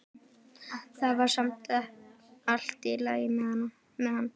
Það var samt allt í lagi með hann.